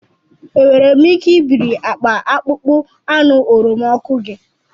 Enwere m ike ibiri akpa akpụkpọ anụ oroma ọkụ gi?